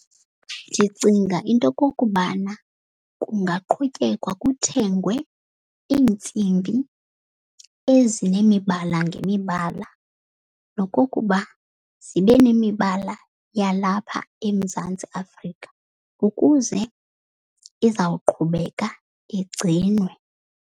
Ndicinga into yokokubana kungaqhutyekwa kuthengwe iintsimbi ezinemibala ngemibala. Nokokuba zibe nemibala yalapha eMzantsi Afrika ukuze izawuqhubeka igcinwe.